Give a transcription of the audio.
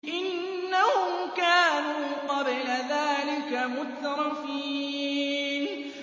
إِنَّهُمْ كَانُوا قَبْلَ ذَٰلِكَ مُتْرَفِينَ